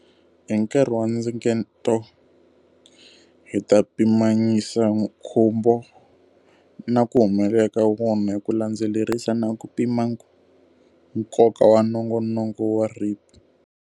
Hi nkarhi wa ndzingeto, hi ta pimanyisa nkhumbo na ku humelela ka wona hi ku landzelerisa na ku pima nkoka wa nongonoko wa REAP.